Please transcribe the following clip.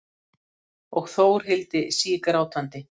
Og Þórhildi sígrátandi.